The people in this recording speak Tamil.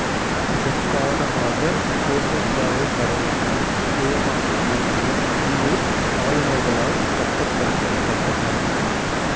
இதன் காரணமாக கோட்டைக்காவல் படையினர் சுயமாக இயங்கிய உள்ளூர் ஆளுநர்களால் கட்டுப்படுத்தப்பட்டனர்